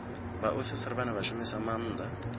vhaofisiri vhane vha shumisa maanda